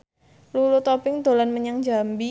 Lulu Tobing dolan menyang Jambi